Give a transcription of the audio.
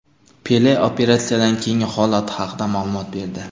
Pele operatsiyadan keyingi holati haqida ma’lumot berdi.